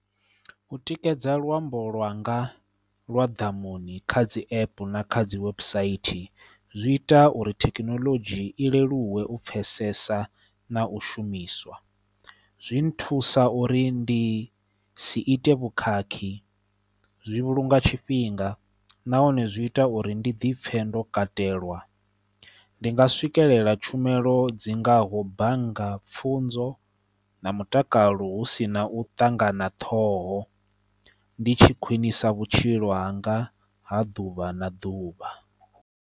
U tikedza luambo lwanga lwa ḓamuni kha dzi app na kha dzi website zwi ita uri thekinoḽodzhi i leluwe u pfhesesa na u shumiswa. Zwi nthusa uri ndi si ite vhukhakhi, zwi vhulunga tshifhinga nahone zwi ita uri ndi dipfhe ndo katelwa. Ndi nga swikelela tshumelo dzi ngaho bannga, pfunzo na mutakalo hu si na u ṱangana ṱhoho ndi tshi khwinisa vhutshilo hanga ha ḓuvha na ḓuvha.